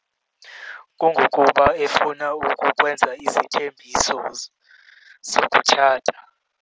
Kungokuba efuna ukukwenza isithembiso sokutshata.